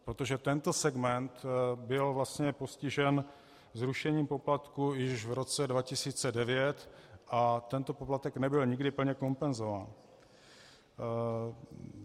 Protože tento segment byl vlastně postižen zrušením poplatků již v roce 2009 a tento poplatek nebyl nikdy plně kompenzován.